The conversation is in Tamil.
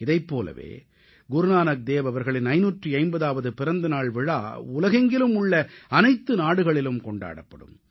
இதைப் போலவே குருநானக் தேவ் அவர்களின் 550ஆவது பிறந்த நாள் விழா உலகெங்கிலும் உள்ள அனைத்து நாடுகளிலும் கொண்டாடப்படும்